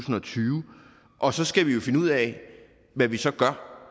og tyve og så skal vi jo finde ud af hvad vi så gør